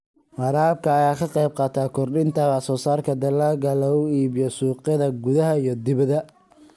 Waraabka ayaa ka qayb qaata kordhinta wax soo saarka dalagga lagu iibiyo suuqyada gudaha iyo dibadda.